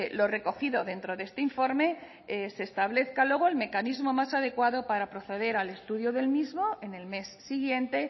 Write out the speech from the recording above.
lo recogido dentro de este informe se establezca luego el mecanismo más adecuado para proceder al estudio del mismo en el mes siguiente